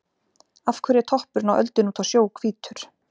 Af hverju er toppurinn á öldunni úti á sjó hvítur?